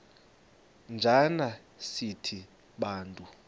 njana sithi bantu